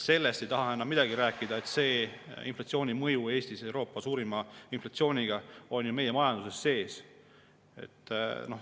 Sellest ei taha ta enam midagi rääkida, et selle inflatsiooni mõju Eestis, Euroopa suurima inflatsiooni mõju, on meie majanduses sees.